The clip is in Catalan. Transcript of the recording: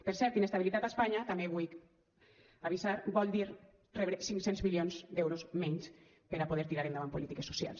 per cert inestabilitat a espanya també vull avisar vol dir rebre cinc cents milions d’euros menys per a poder tirar endavant polítiques socials